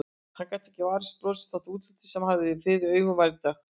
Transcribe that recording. Hann gat ekki varist brosi þó að útlitið sem hann hafði fyrir augunum væri dökkt.